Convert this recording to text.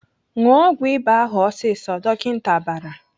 "Ṅụọ ọgwụ ịba ahụ ọsịsọ!" Dọkịta bara.